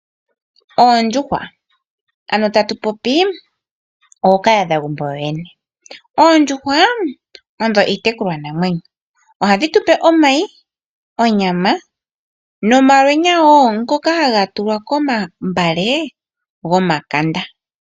Oondjuhwa nenge ano ookahadhagumbo yooyene odho iitekulwanamwenyo. Ohadhi tupe omay, onyama, nomalwenya wo ngoka haga tulwa komagala gomakanda.